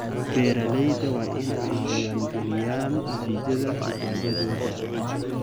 Beeralayda waa in ay diiwaan galiyaan natiijada tijaabadooda.